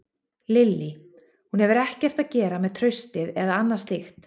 Lillý: Hún hefur ekkert að gera með traustið eða annað slíkt?